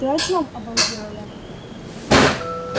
ты о чем обалдела я